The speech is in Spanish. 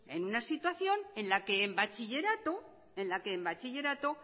en una situación en la que en bachillerato